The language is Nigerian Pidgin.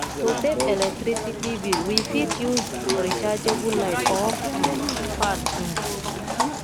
to save electricity bill we fit use rechargeable light or um fan um